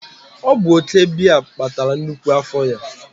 ọ bụ oke biya kpatara nnukwu afọ ya